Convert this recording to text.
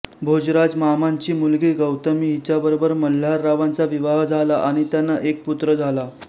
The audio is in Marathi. भोजराजमामांची मुलगी गौतमी हिच्या बरोबर मल्हाररावांचा विवाह झाला आणि त्यांना एक पुत्र झाला